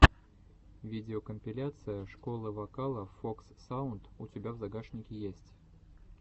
видеокомпиляция школы вокала фокс саунд у тебя в загашнике есть